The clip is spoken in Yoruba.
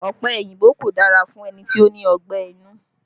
Ọ̀pẹ òyìnbó kò dára fún ẹni tó ní ọgbẹ́ inú